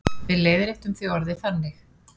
Við leiðréttum því orðið þannig.